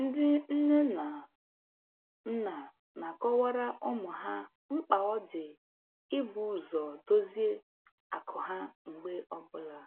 Ndị nne na nna na-akọwara ụmụ ha mkpa ọ dị ibu ụzọ dozie akụ ha mgbe ọbụla